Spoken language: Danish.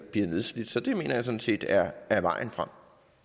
nedslidt så det mener jeg sådan set er er vejen frem